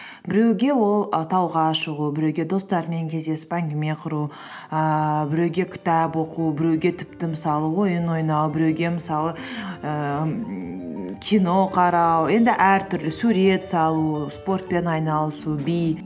біреуге ол і тауға шығу біреуге достарымен кездесіп әңгіме құру ііі біреуге кітап оқу біреуге тіпті мысалы ойын ойнау біреуге мысалы ііі кино қарау енді әртүрлі сурет салу спортпен айналысу би